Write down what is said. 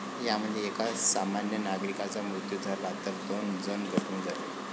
यामध्ये एका सामान्य नागरिकाचा मृत्यू झाला, तर दोन जण जखमी झाले.